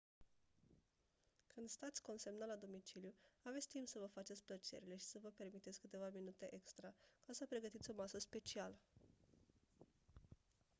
când stați consemnat la domiciliu aveți timp să vă faceți plăcerile și să vă permiteți câteva minute extra ca să pregătiți o masă specială